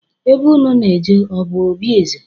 Ebe unu na-eje ọ bụ obi eze?